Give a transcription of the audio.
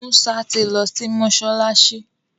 Musa ti ló sí mọsalasi.